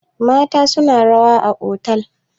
mata suna rawa a otal